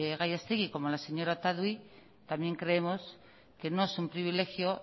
gallastegui como la señora otadui también creemos que no es un privilegio